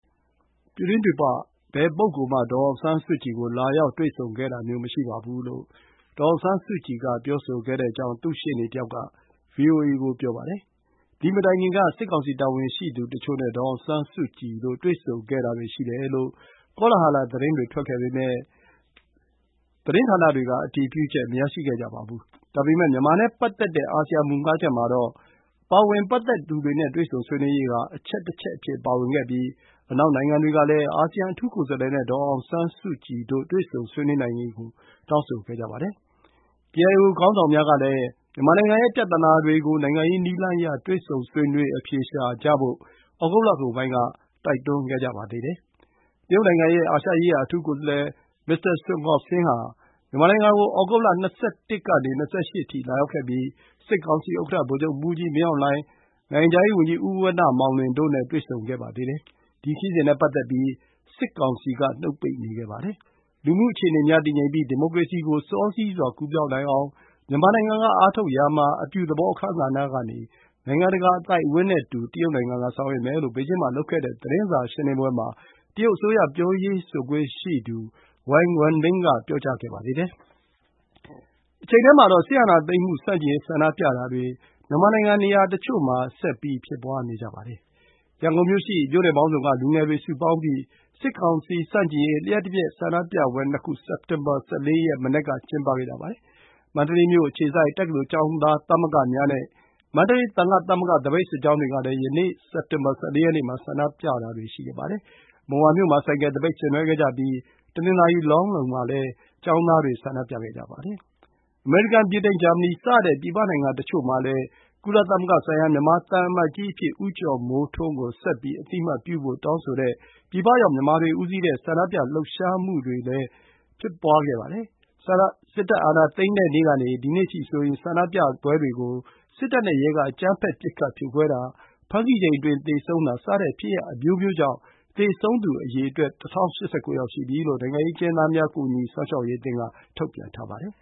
ပြည်တွင်းပြည်ပ ဘယ်ပုဂ္ဂိုလ် မှ ဒေါ်အောင်ဆန်းစုကြည် ကို လာရောက်တွေ့ဆုံခဲ့တာမျိုးမရှိပါဘူး လို့ ဒေါ်အောင်ဆန်းစုကြည်က ပြောဆိုခဲ့တယ်လို့ သူ့ရှေ့နေတစ်ယောက် က ဗွီအိုအေ ကို ပြောပါတယ်။ သည် မတိုင်ခင် က စစ်ကောင်စီ တာဝန်ရှိသူတချို့ နဲ့ ဒေါ်အောင်ဆန်းစုကြည်တို့ တွေ့ဆုံခဲ့တာတွေ ရှိတယ်လို့ ကောလဟာလ သတင်းတွေ ထွက်ခဲ့ပေမဲ့၊ သတင်းဌာနတွေ က အတည်ပြုချက် မရရှိခဲ့ကြပါဘူး။ ဒါပေမဲ့ မြန်မာနဲ့ပတ်သက်တဲ့ အာဆီယံ မူ ၅ ချက် မှာ ပတ်သက်သူတွေ နဲ့ တွေ့ဆုံဆွေးနွေးရေး ဟာ အချက်တစ်ချက် အဖြစ် ပါဝင်ခဲ့ပြီး၊ အနောက် နိုင်ငံတွေ ကလည်း အာဆီယံ အထူးကိုယ်စားလှယ် နဲ့ ဒေါ်အောင်ဆန်းစုကြည် တို့ တွေ့ဆုံဆွေးနွေးနိုင်ရေး ကို တောင်းဆိုခဲ့ကြပါတယ်။ ကေအိုင်အို ခေါင်းဆောင်များ ကလည်း မြန်မာနိုင်ငံ ရဲ့ ပြဿနာတွေ ကို နိုင်ငံရေး နည်းလမ်းအရ တွေ့ဆုံဆွေးနွေး အဖြေရှာဖို့ ဩဂုတ်လကုန်ပိုင်း က တိုက်တွန်း ခဲ့ကြပါသေးတယ်။ တရုတ် နိုင်ငံ ရဲ့ အာရှရေးရာ အထူးကိုယ်စားလှယ် Mr. Sun Guoxiang ဟာ မြန်မာနိုင်ငံ ကို ဩဂုတ် ၂၁ ကနေ ၂၈ အထိ လာရောက်ခဲ့ပြီး၊ စစ်ကောင်စီ ဥက္ကဌ ဗိုလ်ချုပ်မှူးကြီး မင်းအောင်လှိုင်၊ နိုငံခြားရေး ဝန်ကြီး ဉီး ဝဏ္ဏ မောင်လွင် တို့ နဲ့ တွေ့ဆုံဆွေးနွေးခဲ့ပါသေးတယ်။ ဒီ ခရီးစဉ် နဲ့ ပတ်သက်ပြီး၊ စစ်ကောင်စီ က နှုတ်ပိတ်နေခဲ့ပါတယ်။ လူမှုအခြေအနေများ တည်ငြိမ်ပြီး၊ ဒီမိုကရေစီ ကို စောစီးစွာ ကူးပြောင်းနိုင်အောင် မြန်မာနိုင်ငံ က အားထုတ်ရာ မှာ အပြုသဘော အခန်းကဏ္ဌကနေ နိုင်ငံတကာ အသိုက်အဝန်း နဲ့ အတူတကွ ဆောင်ရွက်မယ် လို့ ဘေဂျင်း မှာ လုပ်ခဲ့တဲ့ သတင်းစာ ရှင်းလင်းပွဲ မှာ တရုတ်အစိုးရ ပြောရေးဆိုခွင့် ရှိသူ ဝန်ဝမ်ဘင် Wang Wenbin က ပြောကြားခဲ့ပါသေးတယ်။ တချိန်တည်းမှာတော့ စစ်အာဏာသိမ်းမှုဆန့်ကျင်ရေးဆန္ဒပြမှုတွေ မြန်မာနိုင်ငံနေရာတချို့ဆက်ရှိနေပါတယ်။ ရန်ကုန်မြို့ ရှိ မြို့နယ်ပေါင်းစု က လူငယ်တွေ စုပေါင်းပြီး စစ်ကောင်စီ ဆန့်ကျင်ရေး လျှပ်တပြတ်ဆန္ဒပြပွဲနခု စက်တင်ဘာ ၁၄ ရက် မနက် က ကျင်းပခဲ့ကြပါတယ်။ မန္တလေးမြို့အခြေစိုက် တက္ကသိုလ်ကျောင်းသားသမဂ္ဂများ နဲ့ မန္တလေး သံဃ သမဂ္ဂ သပိတ်စစ်ကြောင်းတွေ ကလည်း ယနေ့ စက်တင်ဘာ ၁၄ ရက်နေ့ မှာ ဆန္ဒပြတာတွေရှိခဲ့ပါတယ်။ မုံရွာမြို့ မှာ ဆိုင်ကယ်သပိတ် ဆင်နွှဲခဲ့ကြပြီး၊ တနင်္သာရီ၊ လောင်းလုံး မှာလည်း ကျောင်းသားတွေ ဆန္ဒပြခဲ့ကြပါတယ်။ အမေရိကန်၊ ဗြိတိန်၊ ဂျာမနီ စတဲ့ ပြည်ပနိုင်ငံတချို့မှာလည်း ကုလသမဂ္ဂဆိုင်ရာ မြန်မာသံအမတ်ကြီးအဖြစ် ဦးကျော်မိုးထွန်းကို ဆက်ပြီး အသိအမှတ်ပြုဖို့် တောင်းဆိုတဲ့ ပြည်ရောက်မြန်မာတွေဦးစီးတဲ့ ဆန္ဒပြ လှုပ်ရှားမှုတွေလည်းရှိနေပါတယ်။ စစ်တပ်အာဏာသိမ်းတဲ့နေ့ကနေ ဒီကနေ့အထိဆိုရင် ဆန္ဒပြပွဲတွေကို စစ်တပ်နဲ့ရဲက အကြမ်းဖက် ပစ်ခတ် ဖြိုခွဲတာ၊ ဖမ်းဆီးချိန်အတွင်း သေဆုံးတာ စတဲ့ဖြစ်ရပ်အမျိုးမျိုးကြောင့် သေဆုံးသူအရေအတွက် ၁၀၈၉ ရှိပြီလို့ နိုင်ငံရေးအကျဉ်းသားများ ကူညီစောင့်ရှောက်ရေးအသင်းက ထုတ်ပြန်ထားပါတယ်